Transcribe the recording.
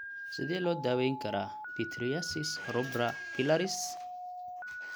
Sidee loo daweyn karaa pityriasis rubra pilaris?